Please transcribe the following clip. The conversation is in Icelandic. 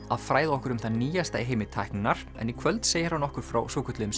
að fræða okkur um það nýjasta í heimi tækninnar en í kvöld segir hann okkur frá svokölluðum